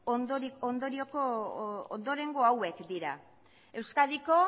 ondorengo hauek dira euskadiko